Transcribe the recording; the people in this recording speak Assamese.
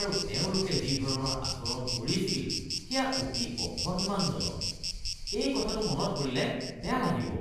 আৰু তেওঁলোকে যি ধৰণৰ আচৰণ কৰিছিল সেয়া অতি অসন্মানজনক। এই কথাটো মনত পৰিলে বেয়া লাগিব।